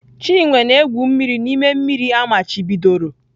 Chinwe na-egwu mmiri n'ime mmiri amachibidoro.